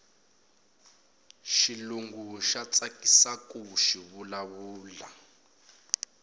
xilungu xa tsakisaku xivula vula